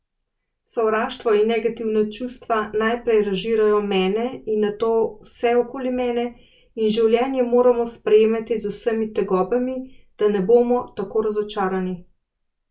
Sovraštvo in negativna čustva najprej razžirajo mene in nato vse okoli mene, in življenje moramo sprejemati z vsemi tegobami, da ne bomo tako razočarani.